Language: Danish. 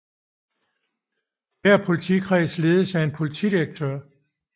Hver politikreds ledes af en politidirektør